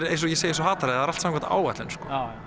eins og ég segi eins og hatari það er allt samkvæmt áætlun